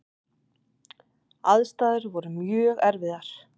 Aðstæður voru mjög erfiðar.